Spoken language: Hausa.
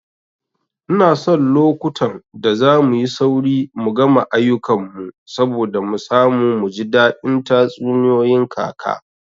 Ina son lokutan da zamuyi sauri mu gama ayukan mu saboda mu samu muji daɗin tatsuniyoyin kaka